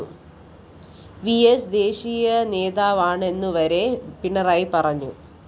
VS ദേശീയ നേതാവാണെന്നുവരെ പിണറായി പറഞ്ഞു